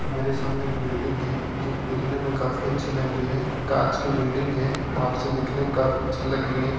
मेरे सामने एक बिल्डिंग है जो दिखने में काफी अच्छी लग रही है कांच की बिल्डिंग है बाहर से दिखने में काफी अच्छी लग रही है।